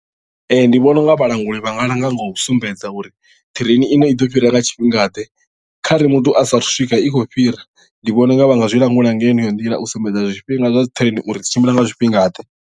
Ee ndi vhona u nga vhalanguli vha nga langa nga u sumbedza uri ṱireini iṅwe i ḓo fhira nga tshifhingaḓe kha re muthu a sa athu swika i khou fhira ndi vhona unga vha nga zwi langula nga heneyo nḓila u sumbedza zwifhinga zwa dzi ṱireini uri dzi tshimbila nga zwifhingaḓe.